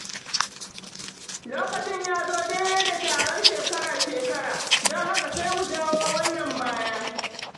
Lokacin ya zo daidai da taron shekara-shekara, don haka sai mu jawo wannan baya.